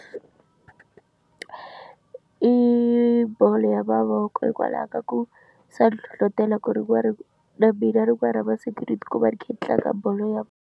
I bolo ya mavoko hikwalaho ka ku swa nhlohlotela ku ri ku va ri na mina rin'wani ra masiku ni ti kuma ni kha ni tlanga bolo ya.